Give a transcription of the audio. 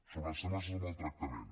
sobre els temes de maltractament